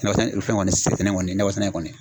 sɛnɛ kɔni ye nakɔ sɛnɛ in kɔni.